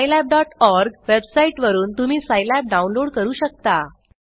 scilabओआरजी website वरुन तुम्ही Scilab download करू शकता